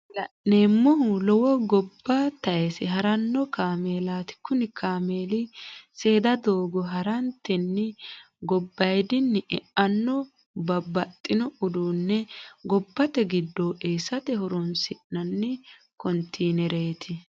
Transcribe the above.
Kuni la'neemohu lowo goba tayise haranno kaamellati, kuni kaamelli seeda doogo haratenni gobayidini e'anno babaxino uduu'ne gobate gidoo eesate horonsinnanni continereti